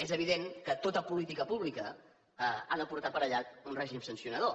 és evident que tota política pública ha de portar aparellat un règim sancionador